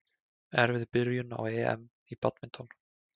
Erfið byrjun á EM í badminton